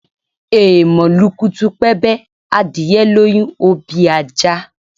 Èèmọ̀ lukutupẹ́bẹ́, adìyẹ lóyún, ó bí ajá